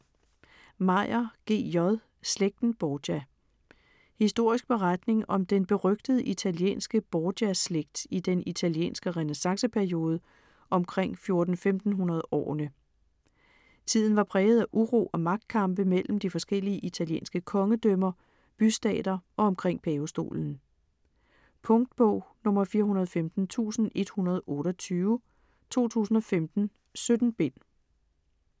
Meyer, G. J.: Slægten Borgia Historisk beretning om den berygtede italienske Borgia-slægt i den italienske renæssanceperiode omkring 1400-1500 årene. Tiden var præget af uro og magtkampe mellem de forskellige italienske kongedømmer, bystater og omkring pavestolen. Punktbog 415128 2015. 17 bind.